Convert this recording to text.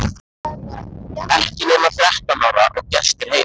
Ekki nema þrettán ára og gestir heima!